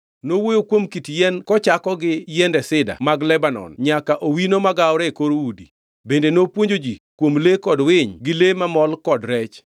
Nowuoyo kuom kit yien kochako gi yiende Sida mag Lebanon nyaka owino magawore e kor udi. Bende nopuonjo ji kuom le kod winy gi le mamol kod rech.